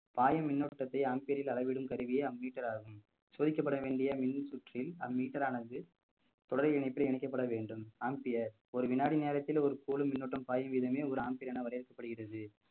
பாயும் மின்னோட்டத்தை amphere ல் அளவிடும் கருவியே ammeter ஆகும் சோதிக்கப்பட வேண்டிய மின் சுற்றில் ammeter ரானது தொடரி இணைப்பில் இணைக்கப்பட வேண்டும் amphere ஒரு வினாடி நேரத்தில் ஒரு போலும் மின்னோட்டம் பாயும் விதமே ஒரு amphere என வரவேற்கப்படுகிறது